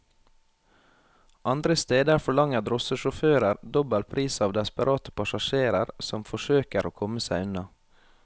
Andre steder forlanger drosjesjåfører dobbel pris av desperate passasjerer som forsøker å komme seg unna.